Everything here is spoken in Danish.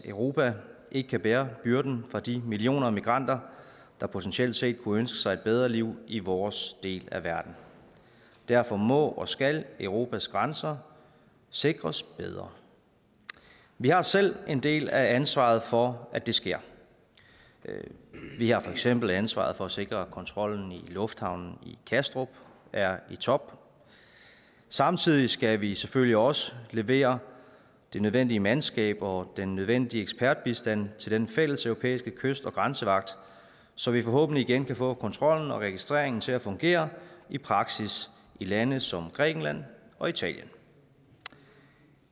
europa ikke kan bære byrden fra de millioner af migranter der potentielt set kunne ønske sig et bedre liv i vores del af verden derfor må og skal europas grænser sikres bedre vi har selv en del af ansvaret for at det sker vi har for eksempel ansvaret for at sikre at kontrollen i lufthavnen i kastrup er i top samtidig skal vi selvfølgelig også levere det nødvendige mandskab og den nødvendige ekspertbistand til den fælleseuropæiske kyst og grænsevagt så vi forhåbentlig igen kan få kontrollen og registreringen til at fungere i praksis i lande som grækenland og italien